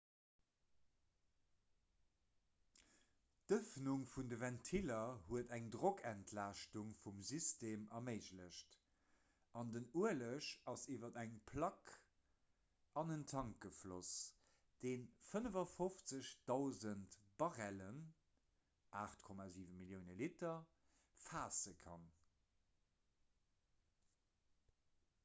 d'ëffnung vun de ventiller huet eng drockentlaaschtung vum system erméiglecht an den ueleg ass iwwer eng plack an en tank gefloss dee 55 000 barrellen 8,7 millioune liter faasse kann